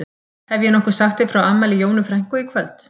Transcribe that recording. Hef ég nokkuð sagt þér frá afmæli Jónu frænku í kvöld?